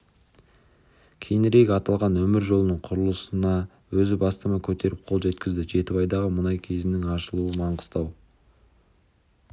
кейінірек аталған өмір жолының құрылысына өзі бастама көтеріп қол жеткізді жетібайдағы мұнай көзінің ашылуы маңғыстау